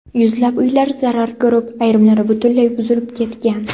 Yuzlab uylar zarar ko‘rib, ayrimlari butunlay buzilib ketgan.